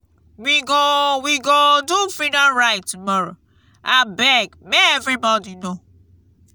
we go we go do freedom ride tomorrowabeg make everyone know.